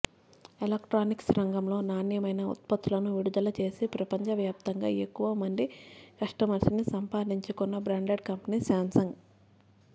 electronics రంగంలో నాణ్యమైన ఉత్పత్తులను విడుదల చేసి ప్రపంచ వ్యాప్తంగా ఎక్కవ మంది కస్టమర్స్ని సంపాదించుకున్న బ్రాండెడ్ కంపెనీ శాంసంగ్